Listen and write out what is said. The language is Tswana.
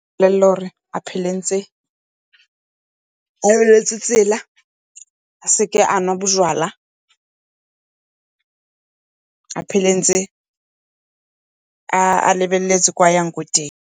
mo bolelela gore a phele ntse a lebeletse tsela, a seke a nwa bojalwa a phele ntse a lebeletse kwa a yang kwa teng.